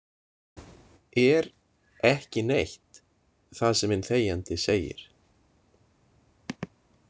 Er „ekki neitt“ það sem hinn þegjandi segir?